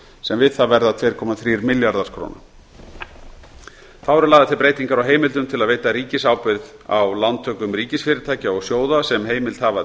sem við það verða tveir komma þrír milljarðar króna þá eru lagðar til breytingar á heimildum til að veita ríkisábyrgð á lántökum ríkisfyrirtækja og sjóða sem heimild hafa